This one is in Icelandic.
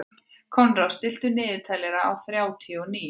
Konráð, stilltu niðurteljara á þrjátíu og níu mínútur.